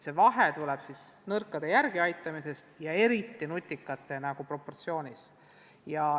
Vahe on nõrkade järeleaitamisel ja eriti nutikate osakaalus.